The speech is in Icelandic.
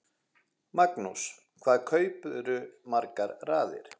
Magnús: Hvað kaupirðu margar raðir?